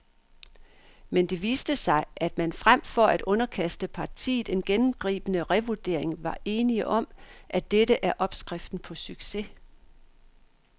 Men det viste sig, at man frem for at underkaste partiet en gennemgribende revurdering var enige om, at dette er opskriften på succes.